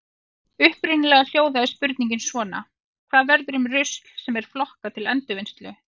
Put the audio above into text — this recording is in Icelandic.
Upprunalega hljóðaði spurningin svona: Hvað verður um rusl sem er flokkað til endurvinnslu?